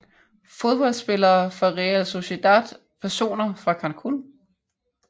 Fodboldspillere fra Real Sociedad Personer fra Cancún